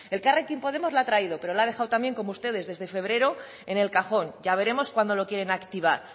elkarrekin podemos la ha traído pero la ha dejado también como ustedes desde febrero en el cajón ya veremos cuando lo quieren activar